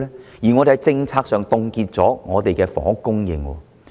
況且，我們在政策上，已凍結了房屋的供應。